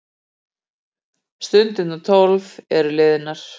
Stundirnar tólf eru liðnar.